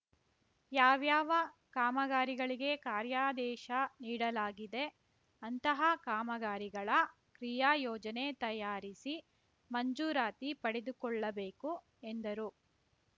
ಯಾವ್ಯಾವ ಕಾಮಗಾರಿಗಳಿಗೆ ಕಾರ್ಯಾದೇಶ ನೀಡಲಾಗಿದೆ ಅಂತಹ ಕಾಮಗಾರಿಗಳ ಕ್ರಿಯಾಯೋಜನೆ ತಯಾರಿಸಿ ಮಂಜೂರಾತಿ ಪಡೆದುಕೊಳ್ಳಬೇಕು ಎಂದರು